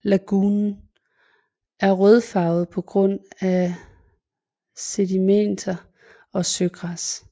Lagunen er rødfarvet på grund af sedimenter og søgræs